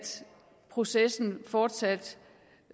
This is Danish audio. processen fortsat